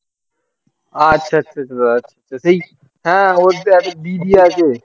আচ্ছা আচ্ছা আচ্ছা আচ্ছা দাদা ঠিক আছে সেই হ্যাঁ ওর যে একটা দিদি আছে